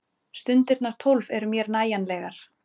Stundirnar tólf eru mér nægjanlegar.